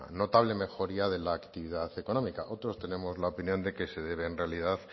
notable mejoría de la actividad económica otros tenemos la opinión de que se debe en realidad